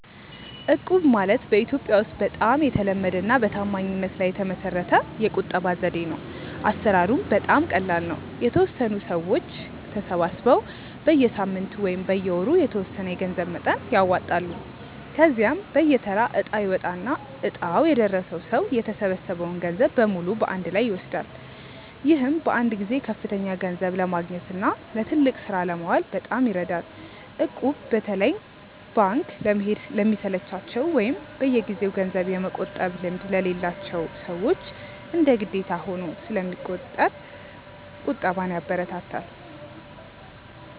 እቁብ ማለት በኢትዮጵያ ውስጥ በጣም የተለመደና በታማኝነት ላይ የተመሰረተ የቁጠባ ዘዴ ነው። አሰራሩም በጣም ቀላል ነው፤ የተወሰኑ ሰዎች ተሰባስበው በየሳምንቱ ወይም በየወሩ የተወሰነ የገንዘብ መጠን ያዋጣሉ። ከዚያም በየተራ እጣ ይወጣና እጣው የደረሰው ሰው የተሰበሰበውን ገንዘብ በሙሉ በአንድ ላይ ይወስዳል። ይህም በአንድ ጊዜ ከፍተኛ ገንዘብ ለማግኘትና ለትልቅ ስራ ለማዋል በጣም ይረዳል። እቁብ በተለይ ባንክ ለመሄድ ለሚሰለቻቸው ወይም በየጊዜው ገንዘብ የመቆጠብ ልምድ ለሌላቸው ሰዎች እንደ ግዴታ ሆኖ ስለሚቆጥር ቁጠባን ያበረታታል።